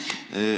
Aitäh!